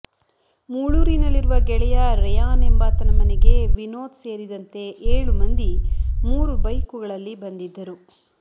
ಮೂಳೂರಿನಲ್ಲಿರುವ ಗೆಳೆಯ ರೆಯಾನ್ ಎಂಬಾತನ ಮನೆಗೆ ವಿನೋದ್ ಸೇರಿದಂತೆ ಏಳು ಮಂದಿ ಮೂರು ಬೈಕುಗಳಲ್ಲಿ ಬಂದಿದ್ದರು